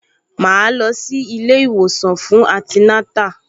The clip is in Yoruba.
Màá lọ sí ilé-ìwòsàn fún antinátà